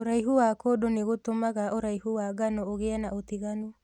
ũraihu wa kũndũ nũgũtũmaga ũraihu wa ngano ũgie na ũtiganu.